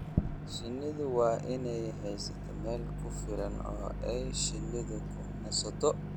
Shinnidu waa inay haysataa meel ku filan oo ay shinnidu ku nasato.